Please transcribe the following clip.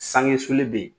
Sanŋe sulen bɛ yen